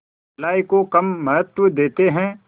भलाई को कम महत्व देते हैं